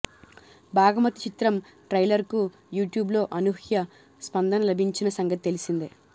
భాగమతి చిత్రం ట్రైలర్కు యూట్యూబ్లో అనూహ్య స్పందన లభించిన సంగతి తెలిసిందే